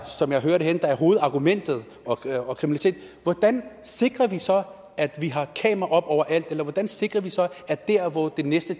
som jeg hører det er hovedargumentet hvordan sikrer vi så at vi har kameraer oppe overalt eller hvordan sikrer vi så at der hvor det næste